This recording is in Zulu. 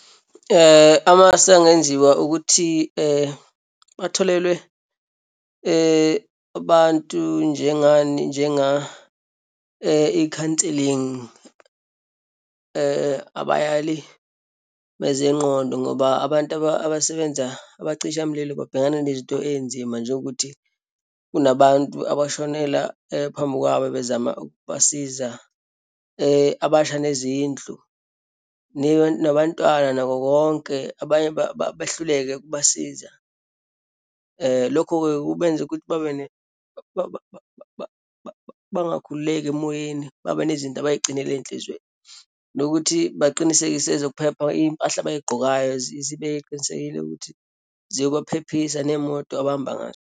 Amasu angenziwa ukuthi batholelwe abantu njengani, njenga-i-counselling, abayali bezengqondo ngoba abantu abasebenza abacishamililo babhekana nezinto eyinzima, njengokuthi kunabantu abashonela phambi kwabo, bezama ukubasiza, abasha nezindlu nabantwana nako konke, abanye behluleke ukubasiza. Lokho kubenza ukuthi babe bangakhululeki emoyeni, babe nezinto abayigcinela eyinhlizweni. Nokuthi baqinisekise ezokuphepha, iyimpahla abayigqokayo zibe qinisekile ukuthi ziyobaphephisa, neyimoto abahamba ngazo.